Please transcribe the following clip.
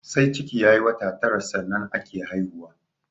Sai ciki ya yi wata tara sannan ake haihuwa